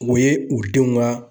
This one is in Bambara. O ye u denw ka